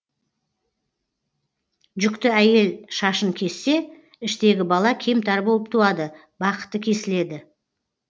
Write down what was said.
жүкті әйел шашын кессе іштегі бала кемтар болып туады бақыты кесіледі